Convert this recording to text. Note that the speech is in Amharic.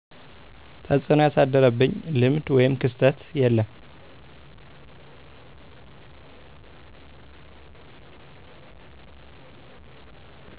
ተፅዕኖ ያሳደረብኝ ልምድ ወይም ክስተት የለም